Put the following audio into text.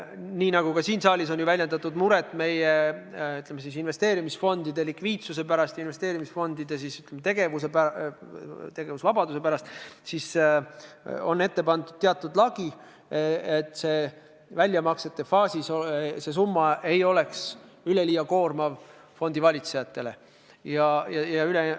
Nii nagu ka siin saalis on väljendatud muret meie investeerimisfondide likviidsuse, investeerimisfondide tegevusvabaduse pärast, siis on kehtestatud teatud lagi, et väljamaksete faasis ei oleks see väljamakstav summa fondivalitsejale üleliia koormav.